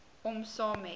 om saam met